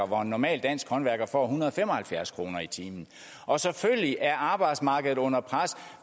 hvor en normal dansk håndværker får en hundrede og fem og halvfjerds kroner i timen og selvfølgelig er arbejdsmarkedet under pres